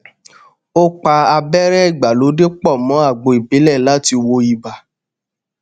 ó pa abẹrẹ ìgbàlódé pọ mọ àgbo ìbílẹ láti wo ibà